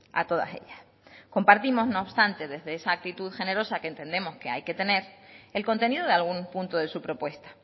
a todas ellas compartimos no obstante desde esa actitud generosa que entendemos que hay que tener el contenido de algún punto de su propuesta